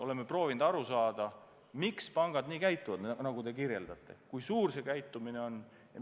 Oleme proovinud aru saada, miks pangad nii käituvad, nagu te kirjeldasite, ja kui tavaline see käitumine on.